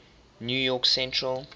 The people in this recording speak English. new york central